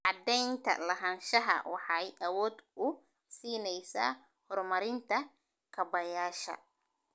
Cadaynta lahaanshaha waxay awood u siinaysaa horumarinta kaabayaasha.